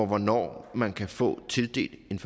hvornår man kan få tildelt en